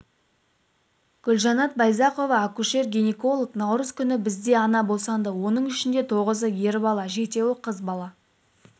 гүлжанат байзақова акушер-гинеколог наурыз күні бізде ана босанды оның ішінде тоғызы ер бала жетеуі қыз бала